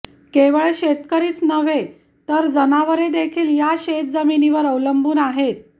केवळ शेतकरीच नव्हे तर जनावरेदेखील या शेतजमिनीवर अवलंबून आहेत